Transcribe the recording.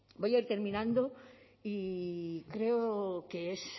voy a ir terminando y creo que es